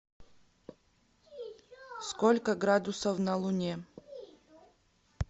сколько градусов на луне